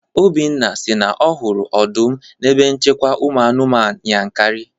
Obinna si na ọ hụrụ ọdụm n'ebe nchekwa ụmụ anụmanụ Yankari